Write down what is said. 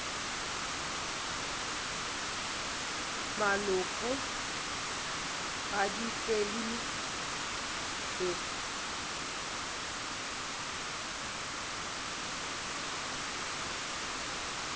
malopo ga di fele he